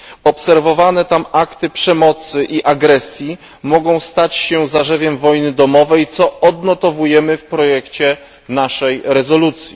Obserwowane tam akty przemocy i agresji mogą stać się zarzewiem wojny domowej, co odnotowujemy w projekcie naszej rezolucji.